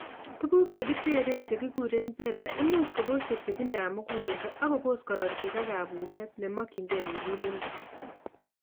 Tuguk chekiteree chekikuren beta imuch kobos chepchepindab muguleldo akobos korotik ak kabuset nemokingei muguleledo